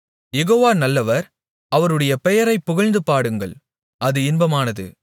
யெகோவா நல்லவர் அவருடைய பெயரைப் புகழ்ந்து பாடுங்கள் அது இன்பமானது